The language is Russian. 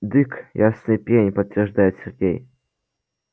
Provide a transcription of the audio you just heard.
дык ясный пень подтверждает сергей